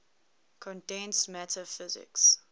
condensed matter physics